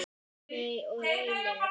Líney og Reynir.